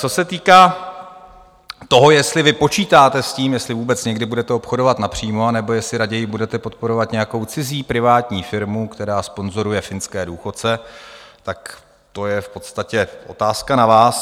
Co se týká toho, jestli vy počítáte s tím, jestli vůbec někdy budete obchodovat napřímo, anebo jestli raději budete podporovat nějakou cizí privátní firmu, která sponzoruje finské důchodce, tak to je v podstatě otázka na vás.